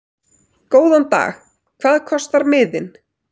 Góðan dag. Hvað kostar miðinn?